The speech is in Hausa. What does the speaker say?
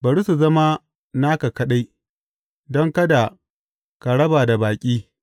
Bari su zama naka kaɗai, don kada ka raba da baƙi.